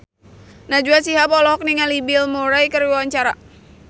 Najwa Shihab olohok ningali Bill Murray keur diwawancara